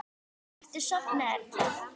Ertu sofnuð, Erla?